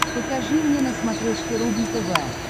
покажи мне на смотрешке рубль тв